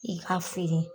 I k'a feere